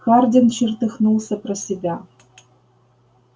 хардин чертыхнулся про себя